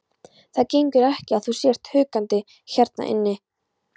Það gengur ekki að þú sért húkandi hérna inni.